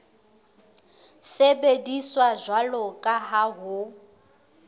sebediswa jwalo ka ha ho